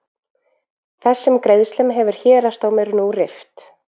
Þessum greiðslum hefur héraðsdómur nú rift